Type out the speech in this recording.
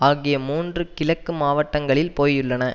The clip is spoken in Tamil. ஆகிய மூன்று கிழக்கு மாவட்டங்களில் போயுள்ளன